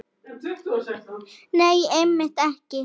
Nei, einmitt ekki.